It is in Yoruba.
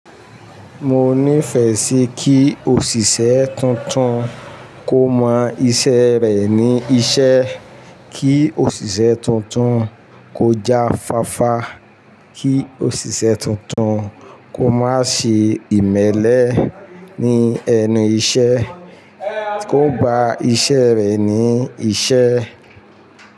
Mo níìfẹ̀ síi kí òṣìṣẹ́ tuntun kó mọ iṣẹ́ rẹ̀ ní iṣẹ́, kí òṣìṣẹ́ tuntun kó já fáfá, kí òṣìṣẹ́ tuntun kó má ṣe ìmẹ́lẹ́ ní ẹnu iṣẹ́, kó gba iṣẹ́ rẹ̀ ní iṣẹ́